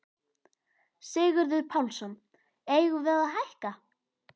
Sigurður Pálsson: Eigum við að hækka?